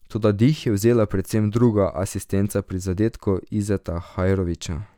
Toda dih je vzela predvsem druga asistenca pri zadetku Izeta Hajrovića.